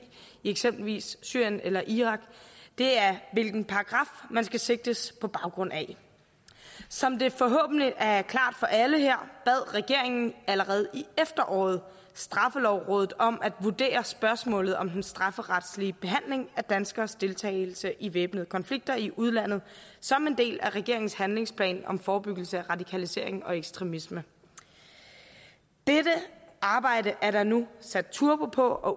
i eksempelvis syrien eller irak det er hvilken paragraf man skal sigtes på baggrund af som det forhåbentlig er klart for alle her bad regeringen allerede i efteråret straffelovrådet om at vurdere spørgsmålet om den strafferetslige behandling af danskeres deltagelse i væbnede konflikter i udlandet som en del af regeringens handlingsplan om forebyggelse af radikalisering og ekstremisme dette arbejde er der nu sat turbo på og